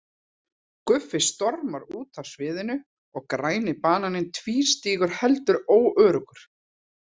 Guffi stormar út af sviðinu og Græni bananinn tvístígur heldur óöruggur.